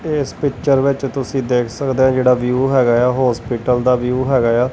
ਇਸ ਪਿੱਚਰ ਵਿੱਚ ਤੁਸੀਂ ਦੇਖ ਸਕਦੇ ਔ ਜਿਹੜਾ ਵਿਊ ਹੈਗਾ ਏ ਆ ਹੌਸਪੀਟਲ ਦਾ ਵਿਊ ਹੈਗਾ ਏ ਆ।